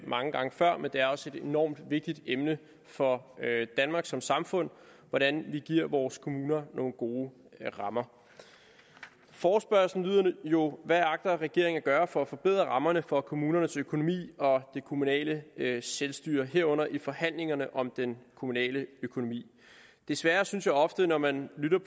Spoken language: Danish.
mange gange før men det er også et enormt vigtigt emne for danmark som samfund hvordan vi giver vores kommuner nogle gode rammer forespørgslen lyder jo hvad agter regeringen at gøre for at forbedre rammerne for kommunernes økonomi og det kommunale selvstyre i herunder i forhandlingerne om den kommunale økonomi desværre synes jeg ofte når man lytter